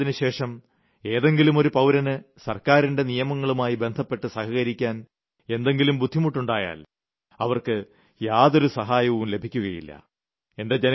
September 30ന് ശേഷം ഏതെങ്കിലു പൌരന് സർക്കാരിന്റെ നിയമങ്ങളുമായി ബന്ധപ്പെട്ട് സഹകരിക്കാൻ എന്തെങ്കിലും ബുദ്ധിമുട്ടുണ്ടായാൽ അവർക്ക് യാതൊരു സഹായവും ലഭിക്കില്ല